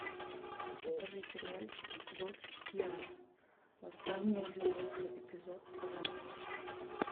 покажи сериальчик код гиас восстание лелуша эпизод пятнадцать